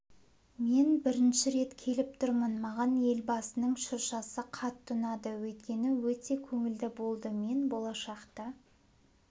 мен бірінші рет келіп тұрмын маған елбасының шыршасы қатты ұнады өйткені өте көңілді болды мен болашақта